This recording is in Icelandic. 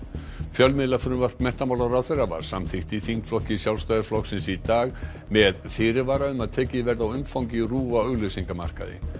fjölmiðlafrumvarp menntamálaráðherra var samþykkt í þingflokki Sjálfstæðisflokksins í dag með fyrirvara um að tekið verði á umfangi RÚV á auglýsingamarkaði